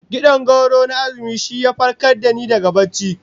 Kid'an gwauro na azumi shi ya farkar da ni daga barci